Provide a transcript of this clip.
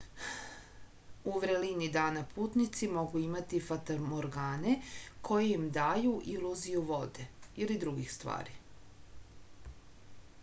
у врелини дана путници могу имати фатаморгане које им дају илузију воде или других ствари